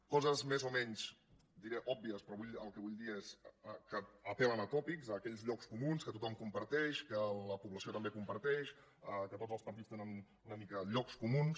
coses més o menys diré obvies però el que vull dir és que apel·len a tòpics aquells llocs comuns que tothom comparteix que la població també comparteix que tots els partits tenen una mica llocs comuns